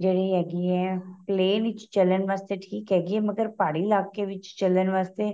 ਜਿਹੜੀਆਂ ਹੈਗੀ ਏ plan ਵਿੱਚ ਚੱਲਣ ਵਾਸਤੇ ਠੀਕ ਹੈਗੀ ਏ ਮਗ਼ਰ ਪਹਾੜੀ ਇੱਲਾਕੇ ਵਿੱਚ ਚੱਲਣ ਵਾਸਤੇ